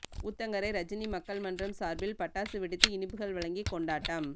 ஊத்தங்கரை ரஜினி மக்கள் மன்றம் சாா்பில் பட்டாசு வெடித்து இனிப்புகள் வழங்கி கொண்டாட்டம்